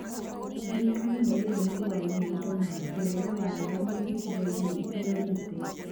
Thirikari nĩ yagĩrĩirwo nĩ kũgayania indo na njĩra ya waragania icigo-inĩ itiganĩte